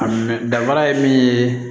A minɛ danfara ye min ye